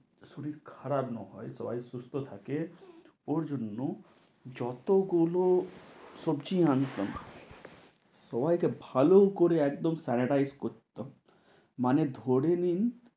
শরীর খারাপ না হয় সবাই সুস্থ থাকে ওর জন্য যত গুলো সবজি আনতাম সবাইকে ভালো করে একদম sanitize করতো মানে ধরে নিন,